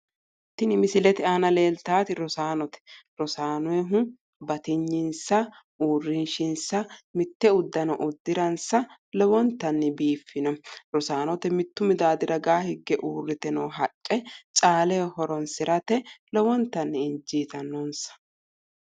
Tini misilete anna leeltaati rosaanote. rosaanoyiiti batinyensa uurrinshinsa mitte uddano uddiransa lowontanni biifino rosaanote mittu midaaddi ragaa hige noo haqqe caaleho horonsirate lowontanni injiitinonsa.